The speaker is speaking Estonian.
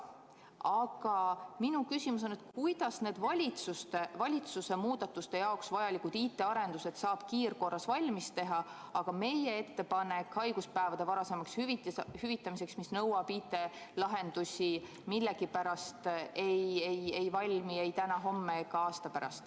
Aga minu küsimus on, et kuidas need valitsuse muudatuste jaoks vajalikud IT-arendused saab kiirkorras valmis teha, aga need IT‑lahendused, mida on vaja meie ettepanekule haiguspäevade varasemaks hüvitamiseks, millegipärast ei valmi ei täna, homme ega aasta pärast.